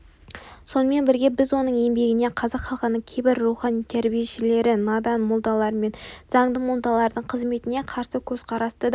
сонымен бірге біз оның еңбегінен қазақ халқының кейбір рухани тәрбиешілері надан молдалар мен заңды молдалардың қызметіне қарсы көзқарасты да